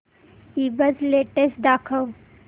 ईबझ लेटेस्ट दाखव